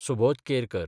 Subodh Kerkar